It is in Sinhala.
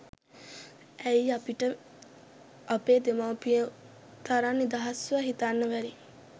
ඇයි අපිට අපේ දෙමව්පියො තරං නිදහස්ව හිතන්න බැරි?